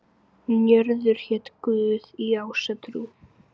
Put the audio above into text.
Njörður hét guð í ásatrú.